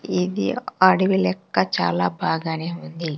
ఇది అడవి లెక్క చాలా బాగానే ఉంది.